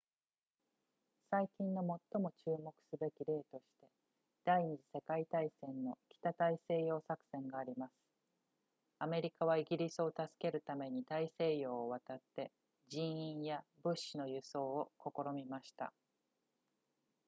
最近の最も注目すべき例として第二次世界大戦の北大西洋作戦がありますアメリカはイギリスを助けるために大西洋を渡って人員や物資の輸送を試みました